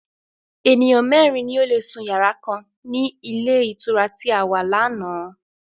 Ènìyàn mẹ́ẹ́rin ni ó lé sún yàrá kan ni ilé ìtura tí a wà láánaà